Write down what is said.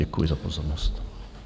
Děkuji za pozornost.